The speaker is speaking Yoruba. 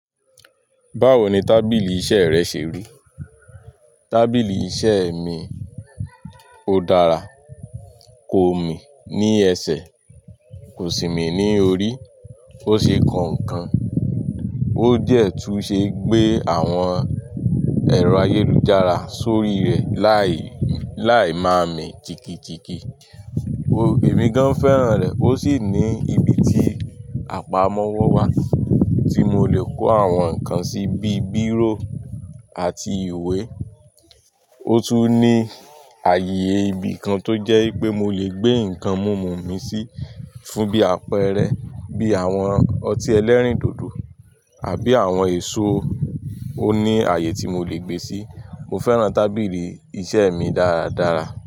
Báwo ni tábìlì iṣẹ́ rẹ ṣe rí? Tábìlì iṣẹ́ mi, ó dára, ko mi ní ẹsẹ̀, kò sì mí ní orí. Ó ṣe kọ̀ọ̀ nkan, ó dẹ̀ tún ṣe gbé àwọn ẹ̀rọ ayélujára sórí rẹ̀ láì, láì máa mi jigijigi. Èmi gan fẹ́ràn rẹ̀. Ó sì ní ibi tí àpamọ́wọ́ wà tí mo lè kó àwọn nǹkan sí bíi bírò àti ìwé. Ó tún ní àyè ibi kan tó jẹ́ pé mo lè gbé nǹkan mumu mi sí fún bí àpẹẹrẹ bí àwọn ọtí ẹlẹ́rìndòdò àbí àwọn èso, ó ní àyè tí mo lè gbé sí. Mo fẹ́ràn tábìlì iṣẹ́ mi dáradára.